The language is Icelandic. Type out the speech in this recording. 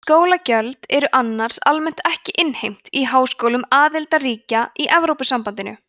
skólagjöld eru annars almennt ekki innheimt í háskólum aðildarríkja í evrópusambandinu